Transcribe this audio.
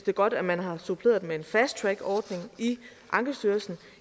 er godt at man har suppleret den med en fast track ordning i ankestyrelsen og